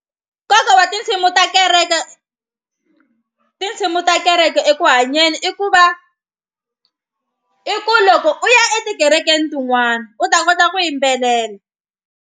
Nkoka wa tinsimu ta kereke tinsimu ta kereke eku hanyeni i ku va i ku loko u ya etikerekeni tin'wana u ta kota ku yimbelela.